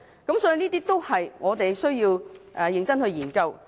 這些都是我們需要認真研究的。